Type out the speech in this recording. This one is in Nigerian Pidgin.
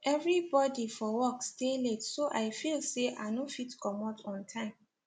everybody for work stay late so i feel say i no fit comot on time